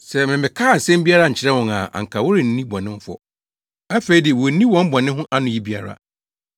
Sɛ memmɛkaa asɛm biara nkyerɛɛ wɔn a anka wɔrenni bɔne ho fɔ. Afei de, wonni wɔn bɔne ho anoyi biara.